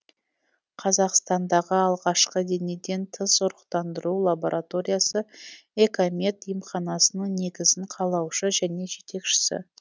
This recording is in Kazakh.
қазақстандағы алғашқы денеден тыс ұрықтандыру лабораториясы экомед емханасының негізін қалаушы және жетекшісі